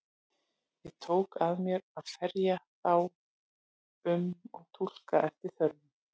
Ég tók að mér að ferja þá um og túlka eftir þörfum.